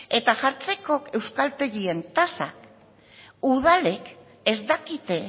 eta jartzeko euskaltegien tasak udalek ez dakite